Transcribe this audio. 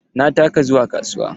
Na taka zuwa kasuwa.